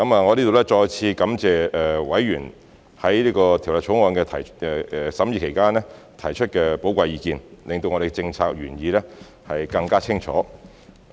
我在這裏再次感謝委員在《2021年公職條例草案》的審議期間提出的寶貴意見，令我們的政策原意更清楚。